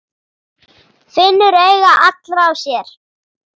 Finnur augu allra á sér.